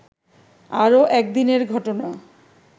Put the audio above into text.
আরও একদিনের ঘটনা